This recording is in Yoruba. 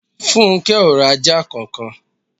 Funke o ra ajá kankan.